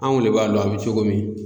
Anw de b'a lon an bɛ cogo min.